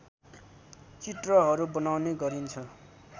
चित्रहरू बनाउने गरिन्छ